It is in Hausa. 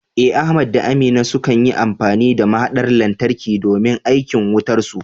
Eh, Ahmad da Aminu sukan yi amfani da mahaɗar lantarki domin aikin wutarsu.